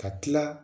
Ka tila